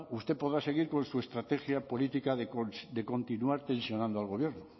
usted podrá seguir con su estrategia política de continuar tensionando al gobierno